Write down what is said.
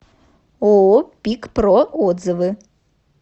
ооо пикпро отзывы